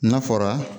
N'a fɔra